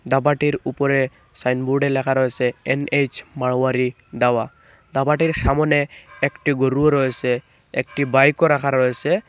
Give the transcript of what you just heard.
ধাঁবাটির উপরে সাইনবোর্ডে লেখা রয়েসে এন_এইচ মারওয়ারি দাওয়া ধাঁবাটির সামোনে একটি গরুও রয়েসে একটি বাইকও রাখা রয়েসে ।